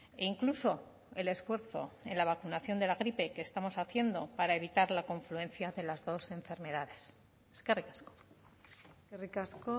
e incluso el esfuerzo en la vacunación de la gripe que estamos haciendo para evitar la confluencia de las dos enfermedades eskerrik asko eskerrik asko